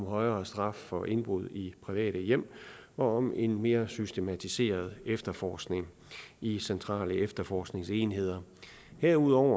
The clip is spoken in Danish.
højere straf for indbrud i private hjem og om en mere systematiseret efterforskning i centrale efterforskningsenheder herudover